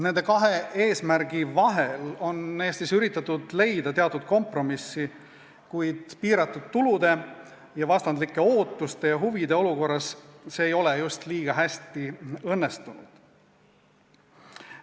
Nende kahe eesmärgi vahel on Eestis üritatud leida teatud kompromissi, kuid piiratud tulude ning vastandlike ootuste ja huvide olukorras ei ole see just eriti hästi õnnestunud.